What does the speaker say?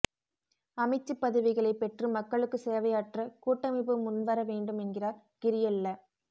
அமைச்சுப் பதவிகளைப் பெற்று மக்களுக்கு சேவையாற்ற கூட்டமைப்பு முன்வர வேண்டும் என்கிறார் கிரியெல்ல